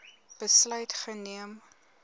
besluit geneem